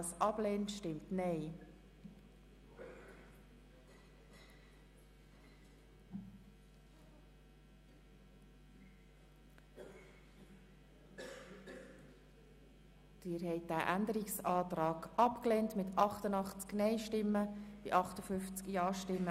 Bis zur Anwendung der neuen Abgeltungsmethode ist auf die Massnahme 44.3.7 «Reduktion Versorgungspflichtsbeiträge an Spitex-Institutionen» zu verzichten (d. h. Erhöhung Saldo